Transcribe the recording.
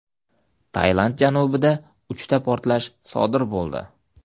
Tailand janubida uchta portlash sodir bo‘ldi.